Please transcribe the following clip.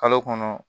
Kalo kɔnɔ